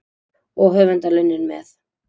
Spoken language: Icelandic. Og höfundarlaunin með.